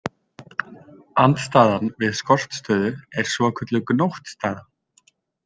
Andstaðan við skortstöðu er svokölluð gnóttstaða.